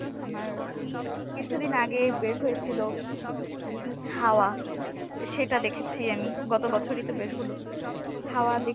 আমার কিছুদিন আগে বের হয়েছিল হাওয়া সেটা দেখেছি আমি গত বছরই তো বের হল। হাওয়া দেখে